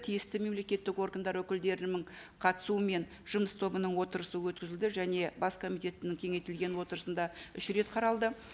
тиісті мемлекеттік органдар өкілдерінің қатысуымен жұмыс тобының отырысы өткізілді және бас комитетінің кеңейтілген отырысында үш рет қаралды